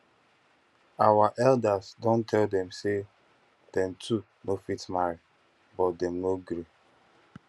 our elders don tell dem say dem two no fit marry but dem no gree